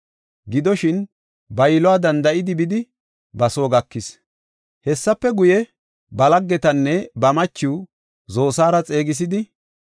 Gidoshin, ba yiluwa danda7idi bidi ba soo gakis. Hessafe guye, ba laggetanne ba machiw Zosaara xeegisidi,